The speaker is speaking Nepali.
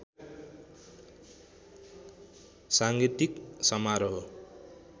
साङ्गीतिक समारोह